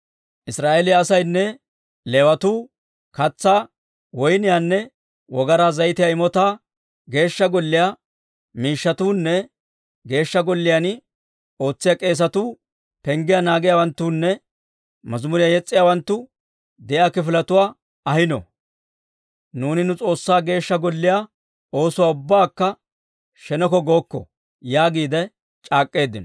Israa'eeliyaa asaynne Leewatuu katsaa, woyniyaanne wogaraa zayitiyaa imotaa, Geeshsha Golliyaa miishshatuunne Geeshsha Golliyaan ootsiyaa k'eesatuu, penggiyaa naagiyaawanttunne mazimuriyaa yes's'iyaawanttu de'iyaa kifiletuwaa ahiino. «Nuuni nu S'oossaa Geeshsha Golliyaa oosuwaa ubbakka sheneko gookko» yaagiide c'aak'k'eeddino.